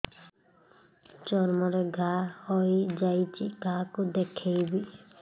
ଚର୍ମ ରେ ଘା ହୋଇଯାଇଛି କାହାକୁ ଦେଖେଇବି